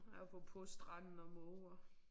Apropos stranden og måger